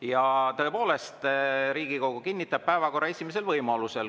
Ja tõepoolest, Riigikogu kinnitab päevakorra esimesel võimalusel.